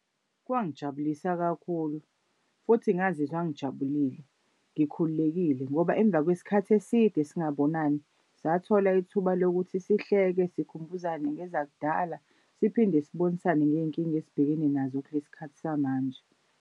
Kwangijabulisa kakhulu futhi ngazizwa ngijabulile ngikhululekile ngoba emva kwesikhathi eside singabonani sathola ithuba lokuthi sihleke sikhumbuzane ngezakudala, siphinde sibonisane ngey'nkinga esibhekene nazo kulesi khathi samanje.